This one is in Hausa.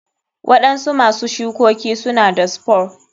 Waɗansu masu shukoki suna da spore.